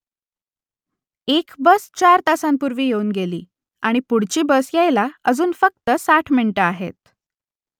एक बस चार तासांपूर्वी येऊन गेली आणि पुढची बस यायला अजून फक्त साठ मिनिटं आहेत